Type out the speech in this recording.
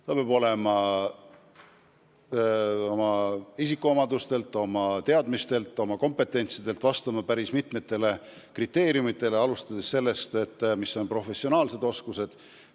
Ta peab oma isikuomadustelt, oma teadmistelt, oma kompetentsilt vastama päris mitmele kriteeriumile, mis kehtivad professionaalsete oskuste osas.